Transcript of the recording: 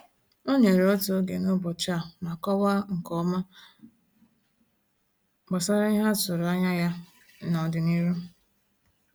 O nyere otu oge n’ụbọchị a ma kọwaa nke ọma gbasara ihe a tụrụ anya ya n’ọdịnihu.